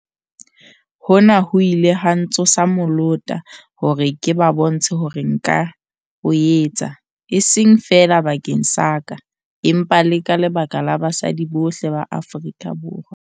"Hona ho ile ha ntsosa molota hore ke ba bontshe hore nka o etsa, e seng feela bakeng sa ka empa le ka lebaka la basadi bohle ba Afrika Borwa."